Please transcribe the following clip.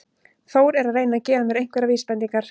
Þór er að reyna að gefa mér einhverjar vísbendingar.